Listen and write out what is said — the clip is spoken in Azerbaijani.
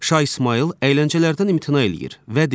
Şah İsmayıl əyləncələrdən imtina eləyir və deyir: